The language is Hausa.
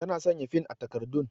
Ta na sanya fin a takardun